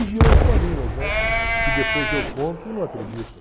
E viram historinhas, né, que depois eu conto e não acreditam.